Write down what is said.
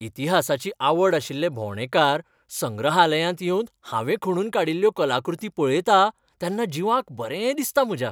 इतिहासाची आवड आशिल्ले भोंवडेकार संग्रहालयांत येवन हांवें खणून काडिल्ल्यो कलाकृती पळयतां तेन्ना जिवाक बरें दिसता म्हज्या.